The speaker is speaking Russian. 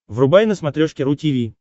врубай на смотрешке ру ти ви